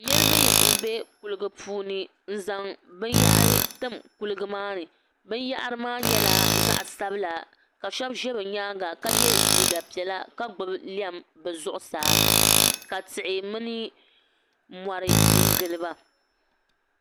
Niriba m-be kuliɡa puuni n-zaŋ binyɛhiri tim kuliɡa maa ni binyɛhiri maa nyɛla zaɣ' sabila ka shɛba ʒe bɛ nyaaŋa ka ye liiɡa piɛla ka ɡbubi lɛm bɛ zuɣusaa ka tihi mini mɔri n-ɡili ba